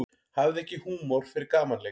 Hafði ekki húmor fyrir gamanleik